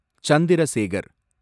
Chandra Sekar